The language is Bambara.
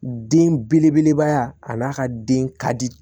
Den belebeleba a n'a ka den ka di